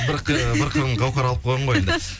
бір қыры бір қырын гаухар алып қойған ғой онда